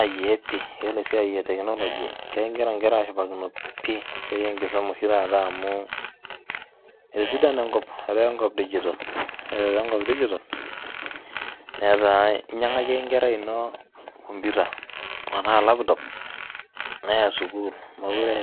Ai ee pii yiolo esiai e teknoloji kegira nkera aashipakino pii esiai enkisuma oshi taata amu etosidana enkop etaa enkop dijital, ore etaa enkop dijital netaa inyang'aki ake enkerai ino komputa enaa laptop neya sukuul mokure